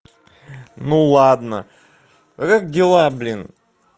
ну ладно как дела блин